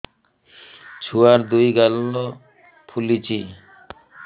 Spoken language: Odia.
ଛୁଆର୍ ଦୁଇ ଗାଲ ଫୁଲିଚି